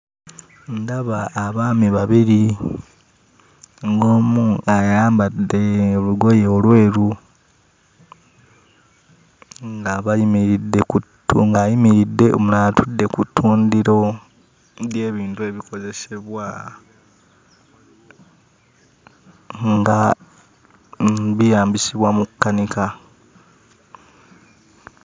Ndaba abaami babiri, ng'omu ayambadde olugoye olweru nga bayimiridde ku ttu ng'ayimiridde, omulala atudde ku ttundiro ly'ebintu ebikozesebwa nga byeyambisibwa mu kkanika.